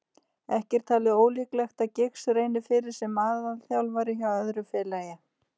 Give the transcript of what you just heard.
Ekki er talið ólíklegt að Giggs reyni fyrir sér sem aðalþjálfari hjá öðru félagi.